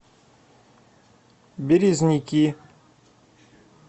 березники